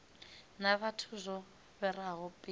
na vhathu zwo fhiraho mpimo